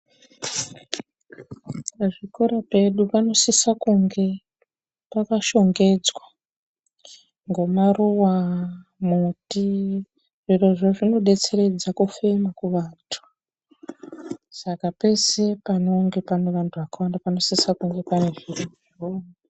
Pazvikoro pedu panosisa kunge paka shongedzwa ngomaruwa, muti. Zvirozvo zvino betseredza kufema kuvantu, saka pese panenga pane vantu vakawanda panosisa kunge pane zvirozvo.